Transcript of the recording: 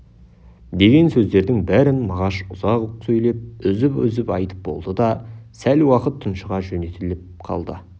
деген сөздердің бәрін мағаш ұзақ сөйлеп үзіп-үзіп айтып болды да сәл уақыт тұншыға жөтеліп қалды